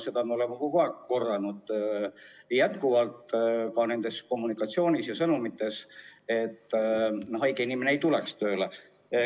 Seda me oleme kogu aeg korranud, andes sõnumeid, et haige inimene ei tuleks tööle.